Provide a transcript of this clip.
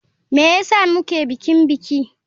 Me yasa muke bikin biki.